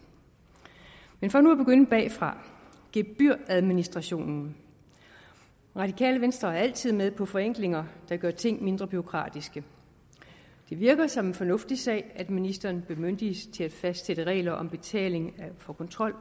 men for nu at begynde bagfra gebyradministrationen radikale venstre er altid med på forenklinger der gør ting mindre bureaukratiske det virker som en fornuftig sag at ministeren bemyndiges til at fastsætte at regler om betaling for kontrol